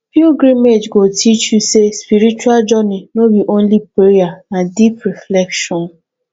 pilgrimage go teach you say spiritual journey no be only prayer na deep reflection